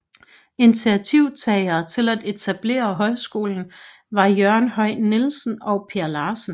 Initiativtagere til at etablere højskolen var Jørgen Høj Nielsen og Per Larsen